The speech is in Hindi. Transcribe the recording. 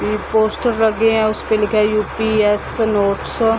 इ पोस्टर लगे हैं उसपे लिखा है यू.पी.एस.सी नोट्स ।